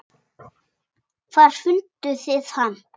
Hvar funduð þið hann?